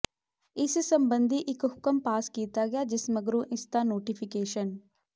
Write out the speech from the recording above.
ਇਸ ਸੰਬੰਧੀ ਇਕ ਹੁਕਮ ਪਾਸ ਕੀਤਾ ਗਿਆ ਜਿਸ ਮਗਰੋਂ ਇਸ ਦਾ ਨੋਟੀਫੀਕੇਸ਼ਨ